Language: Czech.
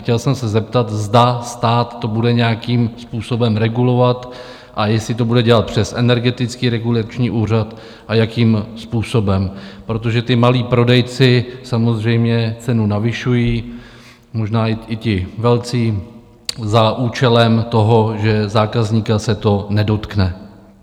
Chtěl jsem se zeptat, zda stát to bude nějakým způsobem regulovat a jestli to bude dělat přes Energetický regulační úřad a jakým způsobem, protože ti malí prodejci samozřejmě cenu navyšují, možná i ti velcí za účelem toho, že zákazníka se to nedotkne.